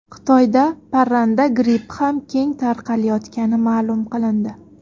Xitoyda parranda grippi ham keng tarqalayotgani ma’lum qilindi.